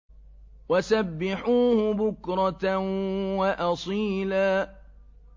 وَسَبِّحُوهُ بُكْرَةً وَأَصِيلًا